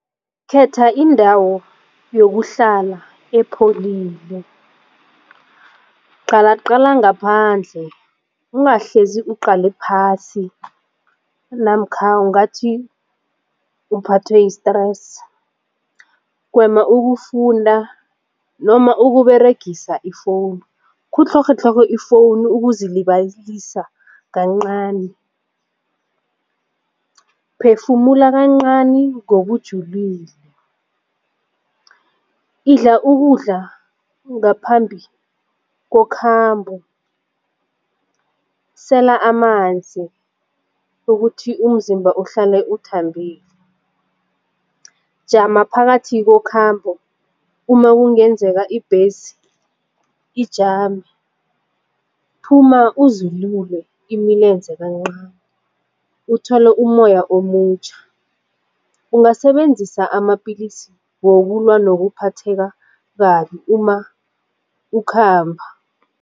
Khetha indawo yokuhlala epholile. Qalaqala ngaphandle ungahlezi uqale phasi namkha ungathi uphathwe yi-stress, gwema ukufunda noma ukuberegisa i-phone khutlhorhatlhorhe i-phone ukuzilibalisa kancani, phefumula kancani ngokujulile, idla ukudla ngaphambi kokhambo, sela amanzi ukuthi umzimba uhlale uthambile. Jama phakathi kokhambo uma kungenzeka ibhesi ijame phuma uzilule imilenze kancani uthole ummoya omutjha. Ungasebenzisa amapillisi wokulwa nokuphatheka kabi uma ukhamba.